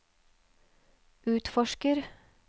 utforsker